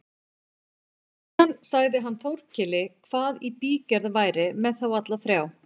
Síðan sagði hann Þórkeli hvað í bígerð væri með þá alla þrjá.